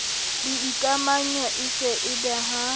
boikamanyo e se e behang